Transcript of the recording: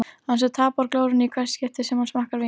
Hann sem tapar glórunni í hvert skipti sem hann smakkar vín.